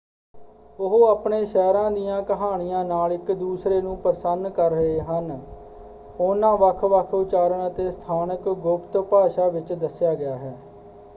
ਉਹ ਆਪਣੇ ਸ਼ਹਿਰਾਂ ਦੀਆਂ ਕਹਾਣੀਆਂ ਨਾਲ ਇਕ ਦੂਸਰੇ ਨੂੰ ਪ੍ਰਸੰਨ ਕਰ ਰਹੇ ਹਨ ਉਹਨਾਂ ਵੱਖ-ਵੱਖ ਉਚਾਰਨ ਅਤੇ ਸਥਾਨਕ ਗੁਪਤ ਭਾਸ਼ਾ ਵਿੱਚ ਦੱਸਿਆ ਗਿਆ ਹੈ।